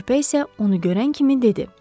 Körpə isə onu görən kimi dedi.